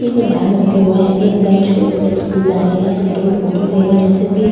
उनके बैगस रखे हुए हैं एक बैंच के ऊपर एक स्कूल बैग है यहाँ पर दो फोटू फ्रेम है जैसे की